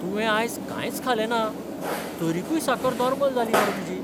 तुवें आयज कांयच खालेंना, तरीकय साकर नॉर्मल जाली मरे तुजी!